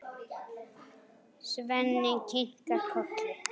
Svenni kinkar kolli.